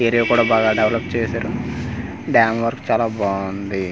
Area కూడా బాగా develop చేశారు డ్యామ్ వరకు చాలా బాగుంది.